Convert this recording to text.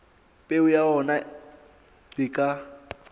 peo ya ona e ka